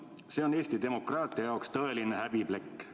See on Eesti demokraatia jaoks tõeline häbiplekk.